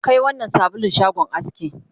Kai wannnan sabulun shagon aski